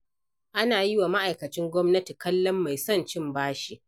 Ana yi wa ma'aikacin gwamnati kallon mai son cin bashi.